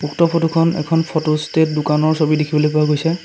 উক্ত ফটোখন এখন ফটোষ্টেট দোকানৰ ছবি দেখিবলৈ পোৱা গৈছে।